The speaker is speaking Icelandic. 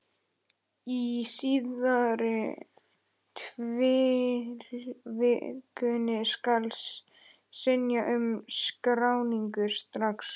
Í síðari tilvikinu skal synja um skráningu strax.